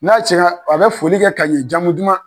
N'a cɛnna a bɛ foli kɛ ka ɲɛ jamu duman.